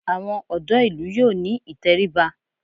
Àwọn ọ̀dọ́ ìlú yóò ní ìtẹríba